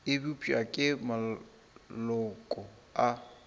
e bopša ke maloko a